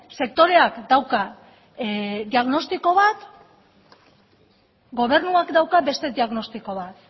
sektoreak dauka diagnostiko bat gobernuak dauka beste diagnostiko bat